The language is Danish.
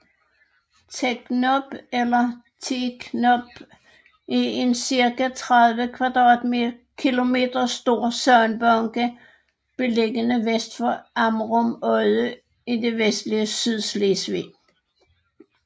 Teknob eller Theeknob er en cirka 30 km² stor sandbanke beliggende vest for Amrum Odde i det vestlige Sydslesvig